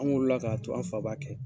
An wolola k'a to an fa b'a kɛ.